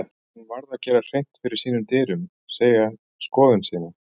Hún varð að gera hreint fyrir sínum dyrum, segja skoðun sína.